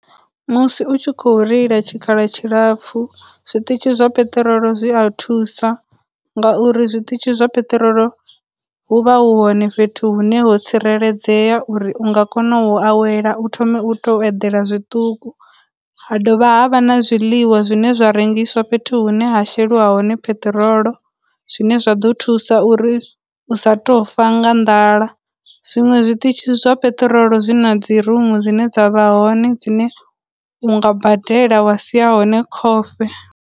Musi u tshi khou reila tshikhala tshilapfu, zwiitishi zwa peṱirolo zwi a thusa, ngauri zwiṱitshi zwa peṱirolo hu vha hu hone fhethu hune ho tsireledzea uri u nga kona u awela, u thome u tou eḓela zwiṱuku, ha dovha ha vha na zwiḽiwa zwine zwa rengiswa fhethu hune ha sheliwa hone peṱirolo, zwine zwa ḓo thusa uri u sa tou fa nga nḓala. Zwinwe zwiṱitshi zwa peṱirolo zwi na dzi rumu dzine dza vha hone dzine u nga badela wa sia hone khofhe.